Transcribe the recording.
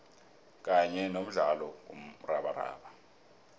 kanye nomdlalo womrabaraba